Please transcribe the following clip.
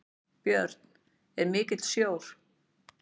Björn: Er mikill sjór?